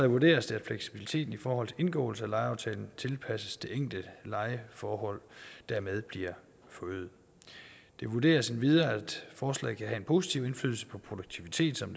vurderes det at fleksibiliteten i forhold til indgåelse af lejeaftalen tilpasses det enkelte lejeforhold og dermed bliver forøget det vurderes endvidere at forslaget en positiv indflydelse på produktiviteten som